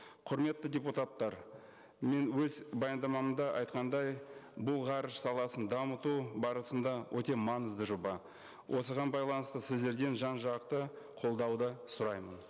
құрметті депутаттар мен өз баяндамамда айтқандай бұл ғарыш саласын дамыту барысында өте маңызды жоба осыған байланысты сіздерден жан жақты қолдауды сұраймын